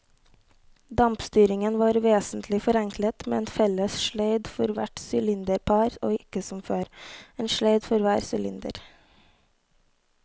Dampstyringen var vesentlig forenklet med en felles sleid for hvert sylinderpar og ikke som før, en sleid for hver sylinder.